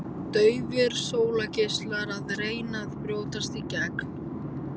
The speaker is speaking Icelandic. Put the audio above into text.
Daufir sólgeislar að reyna að brjótast í gegn.